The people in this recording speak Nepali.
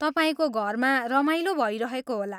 तपाईँको घरमा रमाइलो भइरहेको होला।